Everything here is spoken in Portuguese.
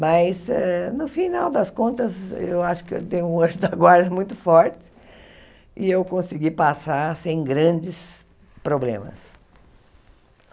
Mas eh, no final das contas, eu acho que eu tenho um anjo da guarda muito forte e eu consegui passar sem grandes problemas.